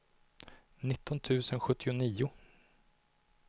nitton tusen sjuttionio